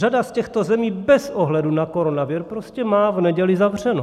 Řada z těchto zemí bez ohledu na koronavir prostě má v neděli zavřeno.